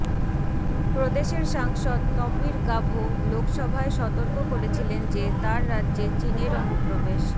প্রদেশের সাংসদ তপীর গাভো লোকসভায় সতর্ক করেছিলেন যে তার রাজ্যে চীনের অনুপ্রবেশ